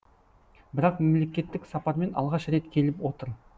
бірақ мемлекеттік сапармен алғаш рет келіп отыр